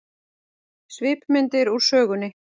Svipmyndir úr sögunni